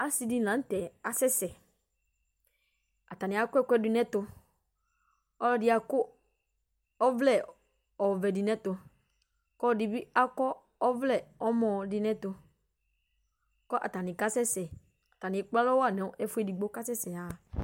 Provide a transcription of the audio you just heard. Asɩ dɩnɩ lanʊtɛ asɛsɛ Atanɩ akɔ ɛkʊɛdɩ nɛtʊ Ɔlɔdɩ akɔ ɔvlɛ dʊ nɛtʊ, kɔlɔdɩ bɩ akɔ ɔvlɛ nɔmɔ kʊ atanɩ kasɛsɛ Atanɩ ekpalɔ wa nefuedigbo kakasɛsɛ aya